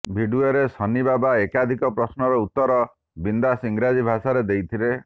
ଭିଡିଓରେ ସନ୍ନି ବାବା ଏକାଧିକ ପ୍ରଶ୍ନର ଉତ୍ତର ବିନ୍ଦାସ୍ ଇଂରାଜି ଭାଷାରେ ଦେଇଥିଲେ